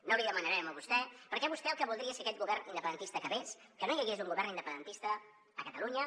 no l’hi demanarem a vostè perquè vostè el que voldria és que aquest govern independentista acabés que no hi hagués un govern independentista a catalunya